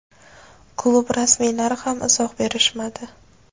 klub rasmiylari ham izoh berishmadi.